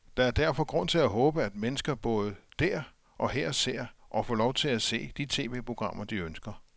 Der er derfor grund til at håbe, at mennesker både der og her ser, og får lov til at se, de tv-programmer, de ønsker.